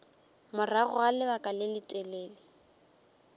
morago ga lebaka le letelele